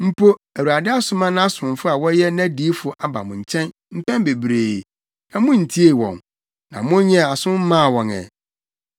Mpo Awurade asoma nʼasomfo a wɔyɛ nʼadiyifo aba mo nkyɛn mpɛn bebree, na muntiee wɔn, na monyɛɛ aso mmaa wɔn ɛ.